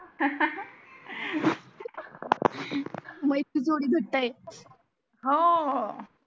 मैत्री जोडी घट्टआहे हम्म हो